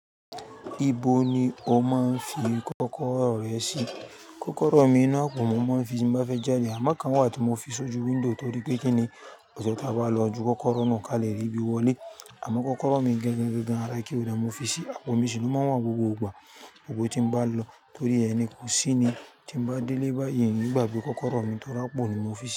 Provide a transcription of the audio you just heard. Ibo ni o máa ń fi kọ́kọ́rọ́ rẹ sí? Kọ́kọ́rọ́ mi náà kò mọ, mo máa ń fi sí bí mo bá fẹ́ jáde, àmọ́ kan wà tí mo fi sójú window torí pé kí ni kò jẹ́ tí a bá lọ, ju kọ́kọ́rọ́ náà kalẹ̀ ri bi wọlé. Àmọ́ kọ́kọ́rọ́ mi gangan ara key hóldá mo fi sí, àpò mi sì ló máa wọ́n gbogbo gbà. Gbogbo ibi tí n bá lò torí ẹ̀ ni kò sí ni tí n bá délé bá yẹn ni ìgbà bí kọ́kọ́rọ́ mi tó rà pò ni mo fi sí.